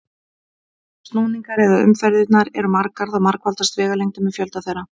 Ef snúningarnir eða umferðirnar eru margar þá margfaldast vegalengdin með fjölda þeirra.